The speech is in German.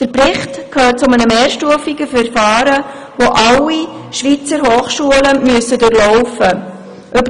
Der Bericht gehört zu einem mehrstufigen Verfahren, das alle Schweizer Hochschulen durchlaufen müssen.